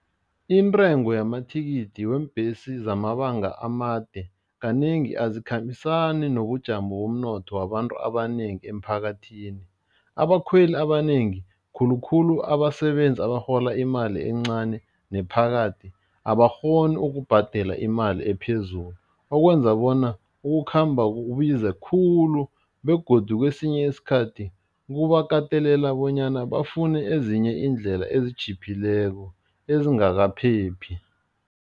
Intengo yamathikithi weembhesi zamabanga amade kanengi azikhambisana nobujamo bomnotho wabantu abanengi emphakathini, abakhweli abanengi khulukhulu abasebenzi abarhola imali encani nephakathi, abakghoni ukubhadela imali ephezulu okwenza bona ukukhamba kubize khulu begodu kwesinye isikhathi kubakatelela bonyana bafune ezinye iindlela ezitjhiphileko, ezingakaphephi.